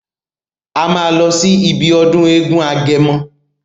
A máa lọ sí ibi ọdún eégún agẹmọ.